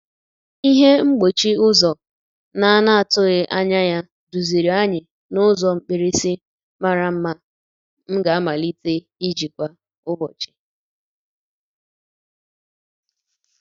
Ihe mgbochi ụzọ na-anatughị anya ya duziri anyị n'ụzọ mkpirisi mara mma m ga-amalite iji kwa ụbọchị.